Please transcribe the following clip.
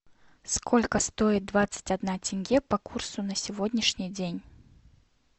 сколько стоит двадцать одна тенге по курсу на сегодняшний день